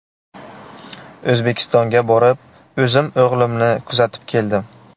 O‘zbekistonga borib, o‘zim o‘g‘limni kuzatib keldim.